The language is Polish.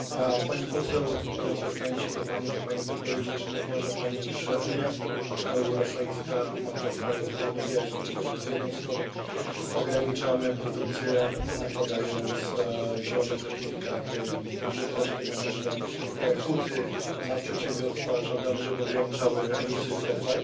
Pani poseł, zwracam się do Pani po Pani wypowiedzi czy nie uważa Pani, że Unia Europejska ma trochę rozdwojenie jaźni, bo z jednej strony ograniczamy produkcję, nakładając zielone certyfikaty i duże koszty na nasze huty, na przedsiębiorstwa i żądamy, żeby ograniczały emisję CO2